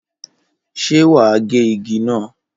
Ṣé wà á gé igi náà?